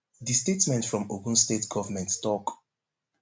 di statement from ogun state govment tok